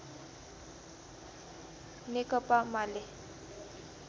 नेकपा माले